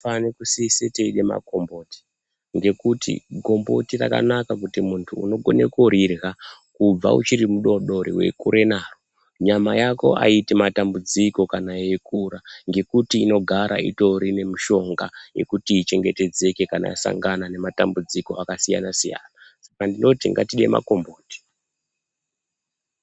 Tinofane kusise teirya makomboti nekuti gomboti rakanaka kuti munty unokone kurirya kubva uchiri mudoodori weikura naro nyama yako aiiti matambudziko kana yeikura ngekuti inogara itori nemushonga yekuti ichengetedzeke kana yasangana nematambudziko akasyana siyana saka ndinoti ngatide makomboti.